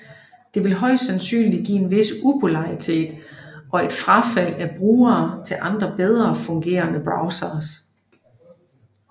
Det vil højst sandsynlig give en vis upopularitet og et frafald af brugere til andre bedre fungerende browsere